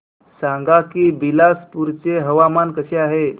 सांगा की बिलासपुर चे हवामान कसे आहे